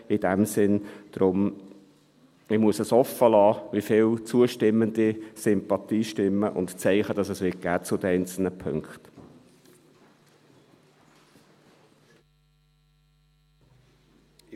In diesem Sinn: Deshalb muss ich offenlassen, wie viele zustimmende Sympathiestimmen und Zeichen es zu den einzelnen Punkten geben wird.